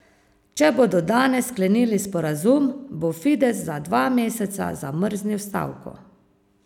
Če bodo danes sklenili sporazum, bo Fides za dva meseca zamrznil stavko.